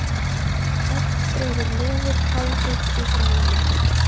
Oft dregur lofið háðið í halanum.